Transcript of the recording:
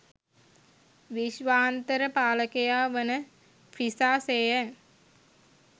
විශ්වාන්තර පාලකයා වන ෆ්‍රිසා සේයන්